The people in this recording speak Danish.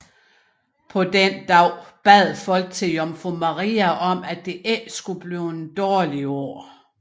På denne dagen bad folk til jomfru Maria om at det ikke skulle blive et dårligt år